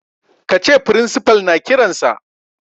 Ka ce principal na kiransa.